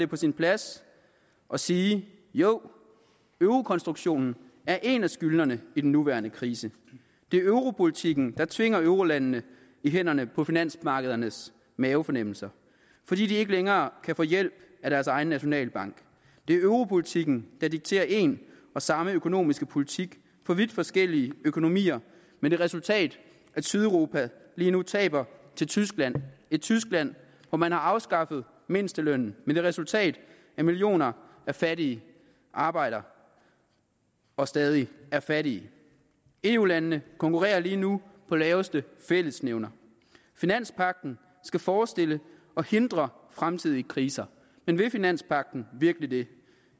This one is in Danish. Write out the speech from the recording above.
på sin plads at sige jo eurokonstruktionen er en af skyldnerne i den nye nuværende krise det er europolitikken der tvinger eurolandene i hænderne på finansmarkedernes mavefornemmelser fordi de ikke længere kan få hjælp af deres egen nationalbank det er europolitikken der dikterer en og samme økonomiske politik for vidt forskellige økonomier med det resultat at sydeuropa lige nu taber til tyskland et tyskland hvor man har afskaffet mindstelønnen med det resultat at millioner af fattige arbejder og stadig er fattige eu landene konkurrerer lige nu på laveste fællesnævner finanspagten skal forestille at hindre fremtidige kriser men vil finanspagten virkelig det